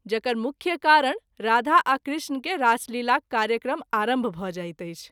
जकर मुख्य कारण राधा आ कृष्ण के रासलीलाक कार्यक्रम आरंभ भ’ जाइत अछि।